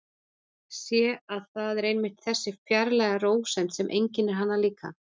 Sé að það er einmitt þessi fjarlæga rósemd sem einkennir hana líka.